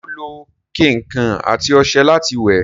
ṣé ó lo kẹ̀ǹkẹ̀ àti ọṣẹ láti wẹ̀?